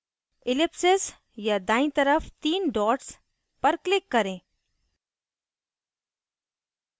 ellipsis या दाईं तरफ तीन dots पर click करें